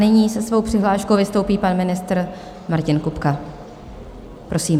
Nyní se svou přihláškou vystoupí pan ministr Martin Kupka, prosím.